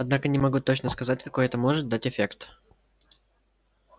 однако не могу точно сказать какой это может дать эффект